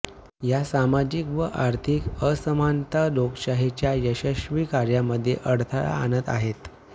या सामाजिक व आर्थिक असमानता लोकशाहीच्या यशस्वी कार्यामध्ये अडथळा आणत आहेत